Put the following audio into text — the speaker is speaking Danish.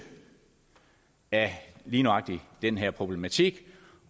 af lige nøjagtig den her problematik